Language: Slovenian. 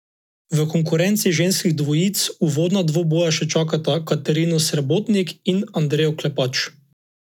V konkurenci ženskih dvojic uvodna dvoboja še čakata Katarino Srebotnik in Andrejo Klepač.